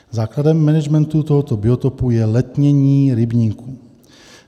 Základem managementu tohoto biotopu je letnění rybníků.